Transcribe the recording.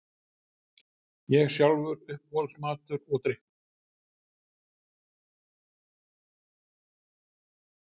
Ég sjálfur Uppáhalds matur og drykkur?